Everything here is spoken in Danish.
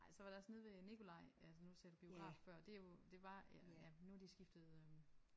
Ej så var det også nede ved Nikolaj altså nu sagde du biograf før. Det er jo det var ja ja nu har de skiftet øh